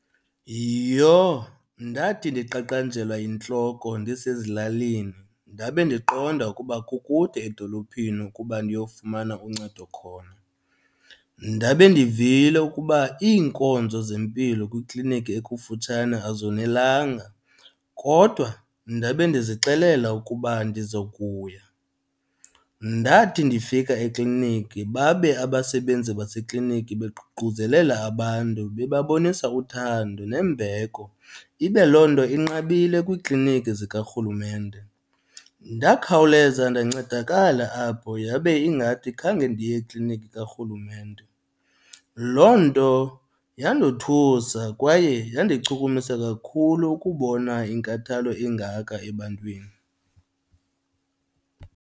Yiyho, ndathi ndiqaqanjelwa yintloko ndisezilalini ndabe ndiqonda ukuba kukude edolophini ukuba ndiyofumana uncedo khona. Ndabe ndivile ukuba iinkonzo zempilo kwikliniki ekufutshane azonelanga, kodwa ndabe ndizixelele ukuba ndizokuya. Ndathi ndifika ekliniki babe abasebenzi basekliniki beququzelela abantu bebabonisa uthando nembeko, ibe loo nto inqabile kwiikliniki zikarhulumente. Ndakhawuleza ndancedakala apho yabe ingathi khange ndiye ekliniki karhulumente. Loo nto yandothusa kwaye yandichukumisa kakhulu ukubona inkathalo engaka ebantwini.